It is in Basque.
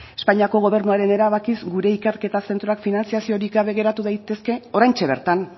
espainiako gobernuaren erabakiz gure ikerketa zentroak finantzaziorik gabe geratu daitezke oraintxe bertan